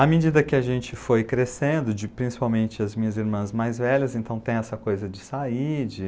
À medida que a gente foi crescendo, principalmente as minhas irmãs mais velhas, então tem essa coisa de sair.